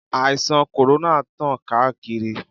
Àìsàn kòrónà tán káàkiri.